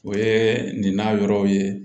O ye nin na yɔrɔw ye